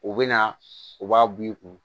U bɛ na u b'a bu i kun